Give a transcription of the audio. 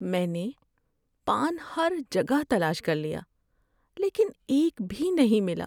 میں نے پان ہر جگہ تلاش کر لیا لیکن ایک بھی نہیں ملا۔